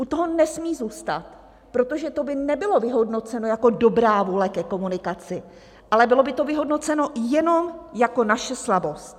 U toho nesmí zůstat, protože to by nebylo vyhodnoceno jako dobrá vůle ke komunikaci, ale bylo by to vyhodnoceno jenom jako naše slabost.